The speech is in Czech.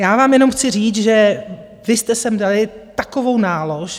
Já vám jenom chci říct, že vy jste sem dali takovou nálož...